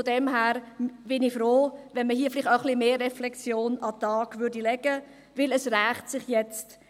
Daher wäre ich froh, wenn man hier etwas mehr Reflexion an den Tag legen würde, weil es sich nun rächt.